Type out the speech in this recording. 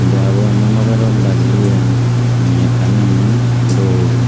deyabo emon babey rod bajeye mekkan emon dol.